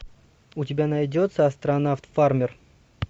у тебя найдется астронавт фармер